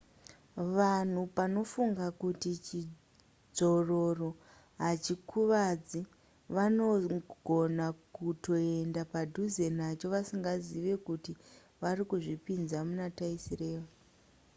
vanhu panofunga kuti chidzvororo hachikuvadzi vanogona kutoenda padhuze nacho vasingazive kuti vari kuzvipinza muna taisireva